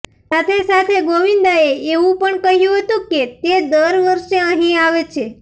સાથે સાથે ગોવિંદાએ એવું પણ કહ્યું હતું કે તે દર વર્ષે અહીં આવે છે